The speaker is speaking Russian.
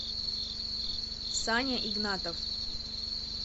саня игнатов